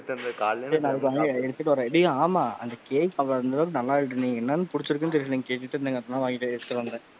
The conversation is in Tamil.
நாளைக்கு, அமைதிய இரு எடுத்துட்டு வரேன். டேய் ஆமா, அந்த கேக் அவன், அந்த அளவுக்கு நல்லா இருக்குன்னு, எல்லாரு புடிச்சிருக்னு சொல்லிருந்தாங்க கேட்டுட்டு இருந்தாங்க, அதா வாங்கிட்டு எடுத்துட்டு வந்தேன்.